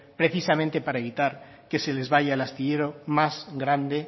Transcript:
precisamente para evitar que se les vaya el astillero más grande